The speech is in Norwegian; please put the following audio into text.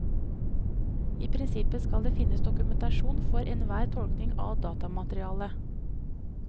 I prinsippet skal det finnes dokumentasjon for enhver tolkning av datamaterialet.